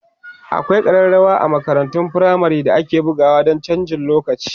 akwai karrawa a makarantun firamare da ake bugawa Dan chanjin lokaci